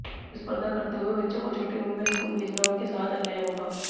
स्पर्धा करते हुए बच्चों को छोटी उम्र में स्कूल भेजना उनके साथ अन्याय होगा